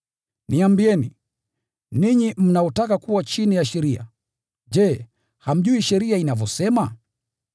Niambieni, ninyi mnaotaka kuwa chini ya sheria, je, hamjui sheria inavyosema?